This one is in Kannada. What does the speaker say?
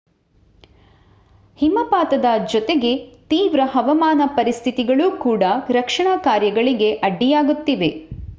ಹಿಮಪಾತದ ಜೊತೆಗೆ ತೀವ್ರ ಹವಾಮಾನ ಪರಿಸ್ಥಿತಿಗಳು ಕೂಡ ರಕ್ಷಣಾ ಕಾರ್ಯಗಳಿಗೆ ಅಡ್ಡಿಯಾಗುತ್ತಿವೆ